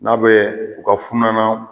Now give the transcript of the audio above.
N'a bɛ u ka funanaw